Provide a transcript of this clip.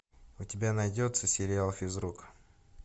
у тебя найдется сериал физрук